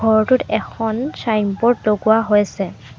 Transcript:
ঘৰটোত এখন চাইনবোৰ্ড লগোৱা হৈছে।